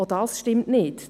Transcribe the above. Auch das stimmt nicht.